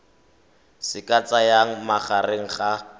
se ka tsayang magareng ga